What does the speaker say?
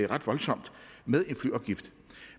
ret voldsomt